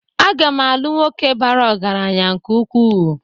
Aga m alu nwoke bara ọgaranya nke-uku